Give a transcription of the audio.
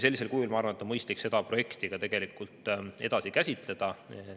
Sellisel kujul, ma arvan, on mõistlik seda projekti edasi käsitleda.